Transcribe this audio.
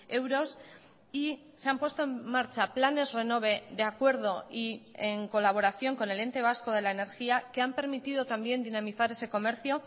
euros y se han puesto en marcha planes renove de acuerdo y en colaboración con el ente vasco de la energía que han permitido también dinamizar ese comercio